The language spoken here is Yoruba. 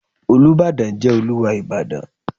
Olúbàdàn jẹ́ Olúwa Ìbàdàn.